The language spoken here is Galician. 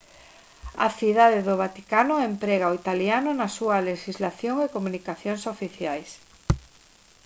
a cidade do vaticano emprega o italiano na súa lexislación e comunicacións oficiais